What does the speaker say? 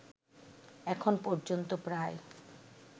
এখন পর্যন্ত প্রায়